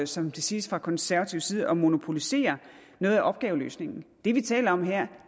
som det siges fra konservativ side at monopolisere noget af opgaveløsningen det vi taler om her